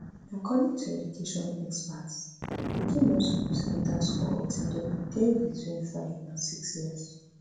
according to education experts pikin no suppose enta school until dem dey between five and six years